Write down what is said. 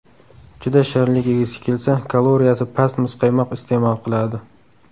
Juda shirinlik yegisi kelsa, kaloriyasi past muzqaymoq iste’mol qiladi.